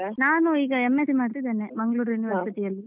ನಾನು ಈಗ M.Sc ಮಾಡ್ತಿದ್ದೇನೆ Mangalore University ಅಲ್ಲಿ.